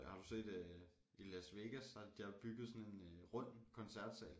Har du set øh i Las Vegas der de har bygget sådan en øh rund koncertsal